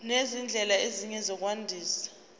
nezindlela ezinye zokwandisa